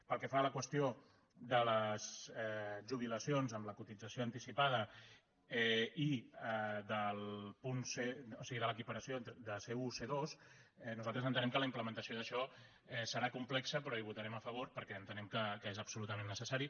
pel que fa a la qüestió de les jubilacions amb la cotització anticipada i de l’equiparació de c1 a c2 nosaltres entenem que la implementació d’això serà complexa però hi votarem a favor perquè entenem que és absolutament necessari